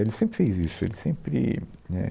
Ele sempre fez isso. Ele sempre, né